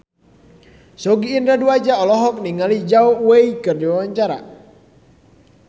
Sogi Indra Duaja olohok ningali Zhao Wei keur diwawancara